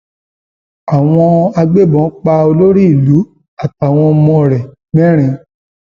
àwọn agbébọn pa olórí ìlú àtàwọn ọmọ rẹ mẹrin